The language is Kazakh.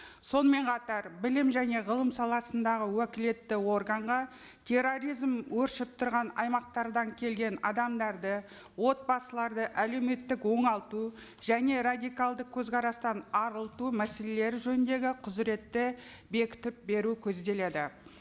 сонымен қатар білім және ғылым саласындағы уәкілетті органға терроризм өршіп тұрған аймақтардан келген адамдарды отбасыларды әлеуметтік оңалту және радикалды көзқарастан арылту мәселелері жөніндегі құзыретті бекітіп беру көзделеді